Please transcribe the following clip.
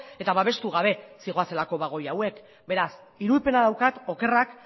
eta babestu gabe zihoazelako bagoi hauek beraz irudipena daukat okerrak